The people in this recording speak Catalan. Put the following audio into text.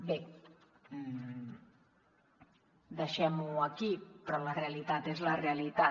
bé deixem ho aquí però la realitat és la realitat